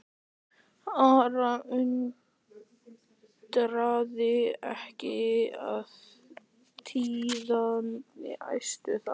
Ara undraði ekki að tíðindin æstu þá.